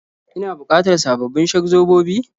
Ina bukatar sababbin shak-zobobi?